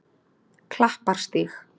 Klapparstíg